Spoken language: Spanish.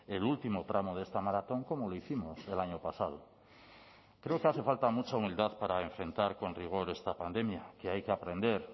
el último tramo de esta maratón como lo hicimos el año pasado creo que hace falta mucha humildad para enfrentar con rigor esta pandemia que hay que aprender